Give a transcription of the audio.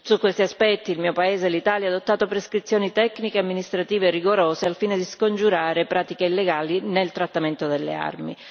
Su questi aspetti il mio paese, l'Italia, ha adottato prescrizioni tecniche e amministrative rigorose al fine di scongiurare pratiche illegali nel trattamento delle armi.